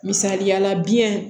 Misaliyala biyɛn